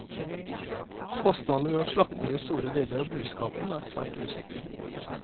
Kostnadene ved å slakte ned store deler av buskapen er svært usikre.